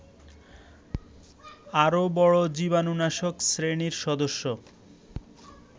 আরও বড় জীবাণুনাশক শ্রেণীর সদস্য